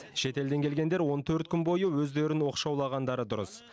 шетелден келгендер он төрт күн бойы өздерін оқшаулағандары дұрыс